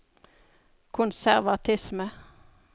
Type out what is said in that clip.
konservatisme